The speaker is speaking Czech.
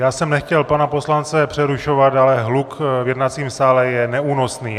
Já jsem nechtěl pana poslance přerušovat, ale hluk v jednacím sále je neúnosný.